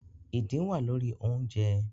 Idin wa lori ounjẹ